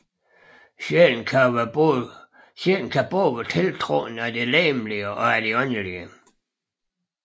Sjælen kan både være tiltrukket af det legemlige og af det åndelige